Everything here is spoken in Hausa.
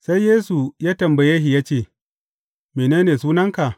Sai Yesu ya tambaye shi ya ce, Mene ne sunanka?